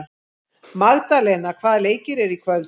Magdalena, hvaða leikir eru í kvöld?